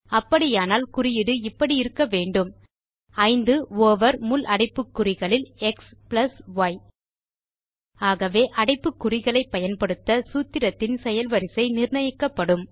அப்படியானால் குறியீடு இப்படி இருக்க வேண்டும் 5 ஓவர் முள் அடைப்புக்குறிகளில் xy ஆகவே அடைப்புக்குறிகளை பயன்படுத்த சூத்திரத்தின் செயல் வரிசை நிர்ணயிக்கபப்டும்